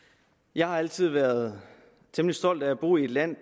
jeg har altid været temmelig stolt af at bo i et land